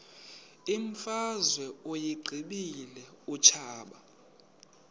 imfazwe uyiqibile utshaba